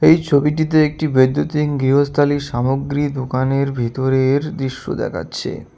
এই ছবিটিতে একটি বৈদ্যুতিন গৃহস্থালির সামগ্রী দোকানের ভিতরের দৃশ্য দেখাচ্ছে।